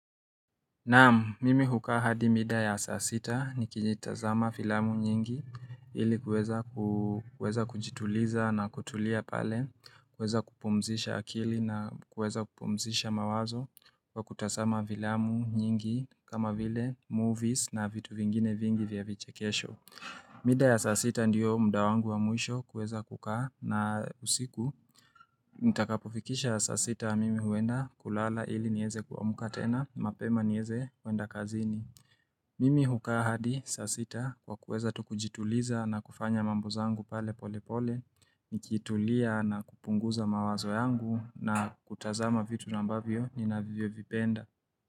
Naamu, mimi hukaa hadi mida ya saa sita nikitazama filamu nyingi ili kuweza kujituliza na kutulia pale, kuweza kupumzisha akili na kuweza kupumzisha mawazo wa kutazama vilamu nyingi kama vile movies na vitu vingine vingi vya vichekesho. Mida ya saa sita ndiyo mda wangu wa mwisho kuweza kukaa na usiku Nitakapofikisha saa sita mimi huenda kulala ili nieze kuamuka tena, mapema nieze kwenda kazini Mimi hukaa hadi saa sita kwa kuweza tu kujituliza na kufanya mambo zangu pale pole pole Nikitulia na kupunguza mawazo yangu na kutazama vitu ambavyo ninavyo vipenda.